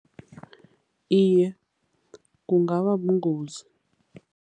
Iye, kungaba bungozi.